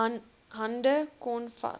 hande kon vat